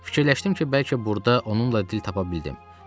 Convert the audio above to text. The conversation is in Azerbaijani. Fikirləşdim ki, bəlkə burda onunla dil tapa bildim.